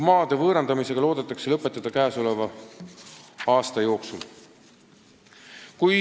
Maade võõrandamisega loodetakse lõpule jõuda käesoleva aasta jooksul.